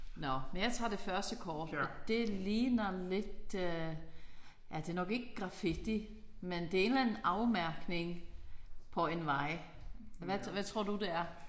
Nåh men jeg tager det første kort og det ligner lidt øh ja det nok ikke grafitti men det er en eller anden afmærkning på en vej. Hvad hvad tror du det er?